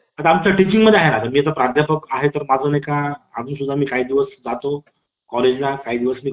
गुप्तचर चराच्या सुरक्षेनुसार हजार police नि park park ला वेढा घातला येथे आझाद आपल्या साथीदारात